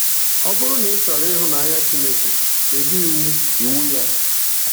Ọ bụrụ na ịchọrọ ịhụnanya Chineke, debe iwu iwu ya.